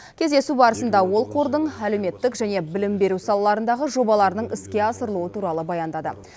кездесу барысында ол қордың әлеуметтік және білім беру салаларындағы жобаларының іске асырылуы туралы баяндады